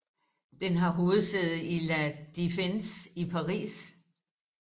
Den har hovedsæde i La Défense i Paris